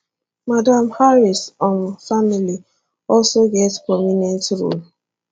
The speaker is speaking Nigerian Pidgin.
madam harris um family also get prominent role